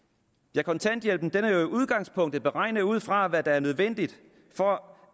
ja kontanthjælpen er jo i udgangspunktet beregnet ud fra hvad der er nødvendigt for